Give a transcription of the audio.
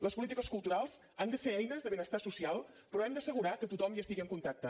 les polítiques culturals han de ser eines de benestar social però hem d’assegurar que tothom hi estigui en contacte